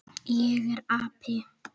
Ég er api.